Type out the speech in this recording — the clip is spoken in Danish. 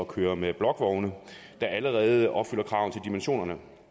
køre med blokvogne der allerede opfylder kravene til dimensionerne